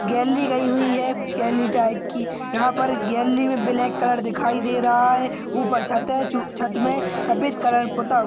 Galley गई हुई है। गॅली टाइप की यहा पर गॅली मे ब्लैक कलर दिखाई दे रहा है। ऊपर छत है। छु छत मे सफेद कलर पोता हुवा--